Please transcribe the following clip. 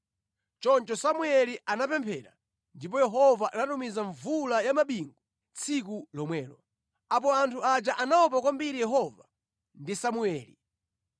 Choncho Samueli anapemphera, ndipo Yehova anatumiza mvula ya mabingu tsiku lomwelo. Apo anthu aja anaopa kwambiri Yehova ndi Samueli.